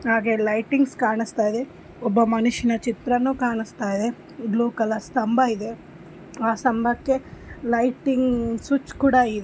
‌ ಹಾಗೆ ಲೈಟಿಂಗ್ಸ ಕಾಣಸ್ತಾ ಇದೆ ಒಬ್ಬ ಮನುಷ್ಯನ ಚಿತ್ರನು ಕಾಣಸ್ತಾ ಇದೆ ಬ್ಲುವ್‌ ಕಲರ್ ಸ್ಥಂಭ ಇದೆ ಆ ಸ್ಥಂಭಕ್ಕೆ ಲೈಟಿಂಗ್ ಸುಚ್ ಕೂಡ ಇದೆ .